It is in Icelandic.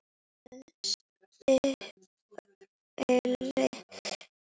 Síðasta spilið.